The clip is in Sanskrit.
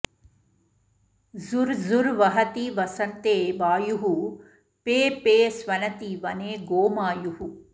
झुर् झुर् वहति वसन्ते वायुः फे फे स्वनति वने गोमायुः